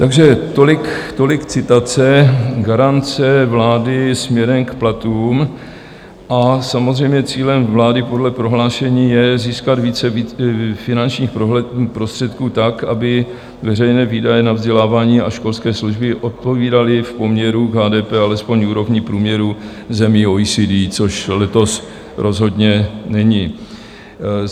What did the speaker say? Takže tolik citace garance vlády směrem k platům a samozřejmě cílem vlády podle prohlášení je získat více finančních prostředků tak, aby veřejné výdaje na vzdělávání a školské služby odpovídaly v poměru k HDP alespoň úrovni průměru zemí OECD, což letos rozhodně není.